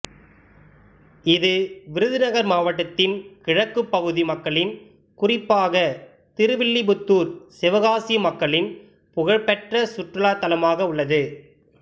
இது விருதுநகர் மாவட்டத்தின் கிழக்குப் பகுதி மக்களின் குறிப்பாக திருவில்லிபுத்தூர் சிவகாசி மக்களின் புகழ்பெற்ற சுற்றுலா தலமாக உள்ளது